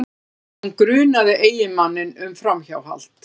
En hún grunaði eiginmanninn um framhjáhald